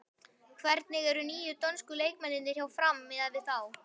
Hvernig eru nýju dönsku leikmennirnir hjá Fram miðað við þá?